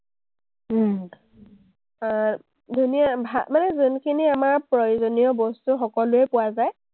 আহ মানে যোনখিনি আমাৰ প্ৰয়োজনীয় বস্তু সকলোৱেই পোৱা যায়।